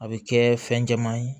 A bɛ kɛ fɛn jɛman ye